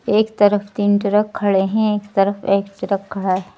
एक तरफ तीन ट्रक खड़े हैं एक तरफ एक ट्रक खड़ा है।